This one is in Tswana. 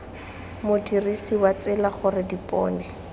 modirisi wa tsela gore dipone